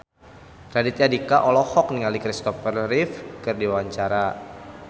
Raditya Dika olohok ningali Kristopher Reeve keur diwawancara